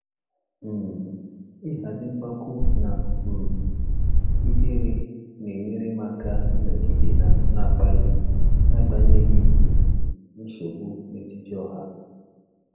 um Ịhazi mpako na um ihere na-enyere m aka ịnọgide na-akpali n'agbanyeghị um nsogbu na echiche ọha.